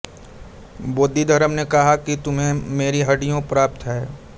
बोधिधर्म ने कहा कि तुम्हें मेरी हड्डियाँ प्राप्त हैं